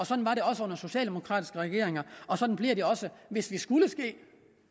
sådan var det også under socialdemokratiske regeringer og sådan bliver det også hvis det skulle ske